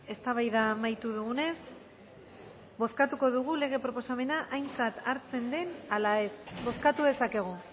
eztabaida amaitu dugunez bozkatuko dugu lege proposamena aintzat hartzen den ala ez bozkatu dezakegu